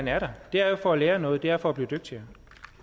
er der det er jo for at lære noget det er for at blive dygtigere